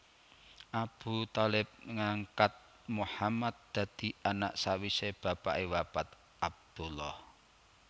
Abu Thalib ngangkat Muhammad dadi anak sawise bapake wafat Abdullah